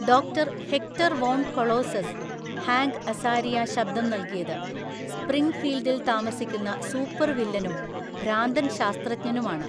Doctor Hector von Colossus (Hank Azaria ശബ്ദം നൽകിയത്) സ്പ്രിംഗ്ഫീൽഡിൽ താമസിക്കുന്ന സൂപ്പർവില്ലനും ഭ്രാന്തൻ ശാസ്ത്രജ്ഞനുമാണ്.